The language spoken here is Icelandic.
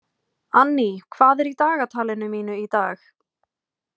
Anný, hvað er í dagatalinu mínu í dag?